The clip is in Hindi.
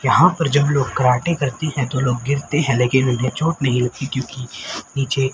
यहां पर जब लोग कराटे करते हैं तो लोग गिरते हैं लेकिन उन्हें चोट नहीं लगती क्योंकि नीचे--